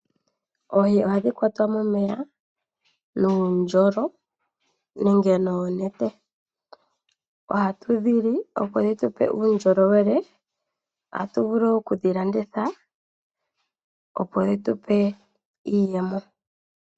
Oohi ohadhi kwatwa momeya nuundjolo nenge noonete. Ohatu dhi li, opo dhi tu pe uundjolowele. Ohatu vulu oku dhi landitha, opo dhi tu pe iiyemo.